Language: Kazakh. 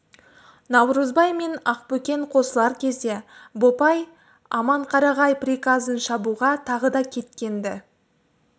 наурызбай мен ақбөкен қосылар кезде бопай аманқарағай приказын шабуға тағы да кеткен-ді